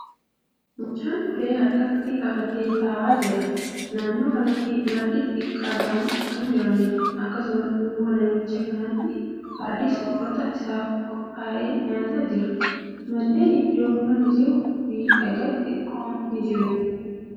Mucaan ulee harkatti qabatee taa'aa jira. Naannoo kanatti margi xixiqqoo ta'an kan jiruudha. Akkasumas, duuba namicha kanaatti fardi soorata isaaf qophaaye nyaachaa jira. Manneen iddoo kana kan jiruu fi dhagaa xixiqqoon kan jiruudha.